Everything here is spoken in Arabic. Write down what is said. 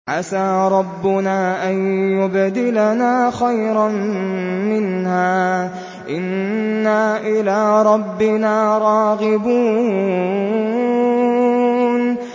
عَسَىٰ رَبُّنَا أَن يُبْدِلَنَا خَيْرًا مِّنْهَا إِنَّا إِلَىٰ رَبِّنَا رَاغِبُونَ